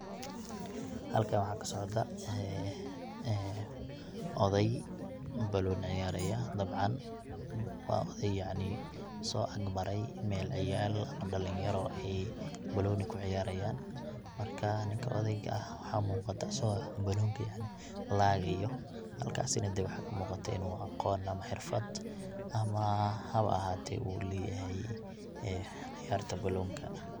Xalkan waxa kasocda ee ee, odey banoni ciyaraya dabcan, wa odey yacni soakmare mel ciyal dalinyaro ayy banoni kuciyarayan, marka ninka odeyga ahh waxa muqataa aso banonika laqayoo, xalkasuna dee waxa muqataa inu agon ama xirfadh ama xawaa axate uleyaxay, ee ciyarta banonka.